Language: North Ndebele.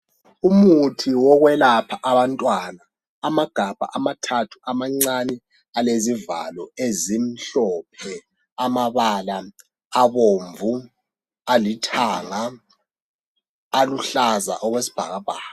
Umuthi wokwelapha abantwana ,amagabha amathathu amancane alezivalo ezimhlophe, amabala abomvu, alithanga, aluhlaza okwesibhakabhaka.